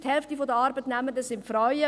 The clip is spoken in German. Die Hälfte der Arbeitnehmenden sind Frauen.